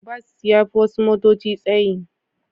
Bas ya fi wasu motoci tsayi.